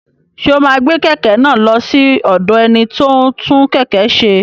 Ṣé o máa gbé kẹ̀kẹ́ náà lọ sí ọ̀dọ̀ ẹni tí ó ń tún kẹ̀kẹ́ ṣe?